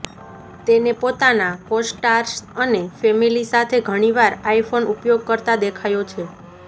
તેને પોતાના કોસ્ટાર્સ અને ફેમિલી સાથે ઘણીવાર આઈફોન ઉપયોગ કરતા દેખાયો છે